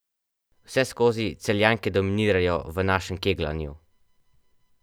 Vseskozi Celjanke dominirajo v našem kegljanju.